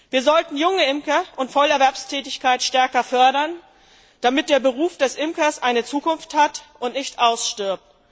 Wir sollten junge Imker und Vollerwerbstätigkeit stärker fördern, damit der Beruf des Imkers eine Zukunft hat und nicht ausstirbt.